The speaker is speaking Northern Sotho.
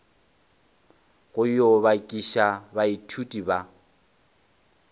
go yo bakiša baithuti ba